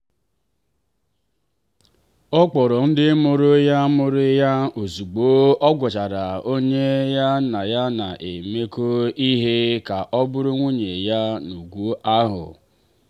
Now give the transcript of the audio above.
ọ kpọrọ ndị mụrụ ya mụrụ ya ozugbo ọ gwachara onye ya na ya na-emekọ ihe ka ọ bụrụ nwunye ya n’ugwu ahụ.